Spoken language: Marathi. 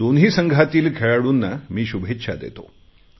दोन्ही संघातील खेळाडूंना मी शुभेच्छा देतो